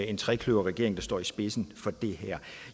en trekløverregering der står i spidsen for det her